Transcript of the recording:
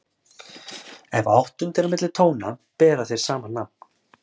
Ef áttund er á milli tóna bera þeir sama nafn.